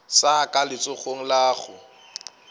sa ka letsogong la go